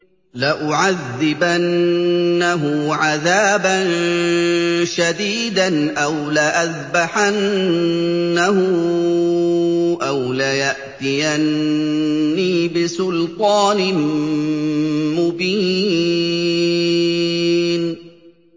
لَأُعَذِّبَنَّهُ عَذَابًا شَدِيدًا أَوْ لَأَذْبَحَنَّهُ أَوْ لَيَأْتِيَنِّي بِسُلْطَانٍ مُّبِينٍ